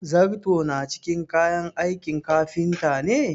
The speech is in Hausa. zarto na cikin kayan aikin kafinta ne?